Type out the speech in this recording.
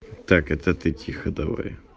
так это ты тихо давай